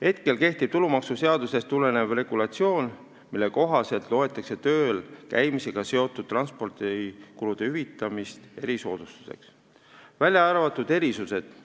Hetkel kehtib tulumaksuseadusest tulenev regulatsioon, mille kohaselt loetakse tööl käimisega seotud transpordikulude hüvitamist erisoodustuseks, välja arvatud erisused.